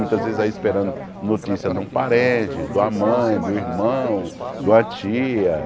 Muitas vezes aí esperando notícia de um parente, de uma mãe, de um irmão, de uma tia.